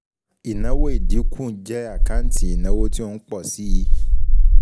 Ìnáwó ìdínkù jẹ́ àkáǹtì ìnáwó tí ó ń pọ̀ síi